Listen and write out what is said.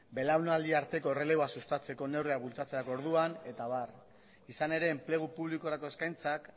belaunaldi arteko erreleboa sustatzeko neurriak bultzatzerako orduan eta abar izan ere enplegu publikorako eskaintzak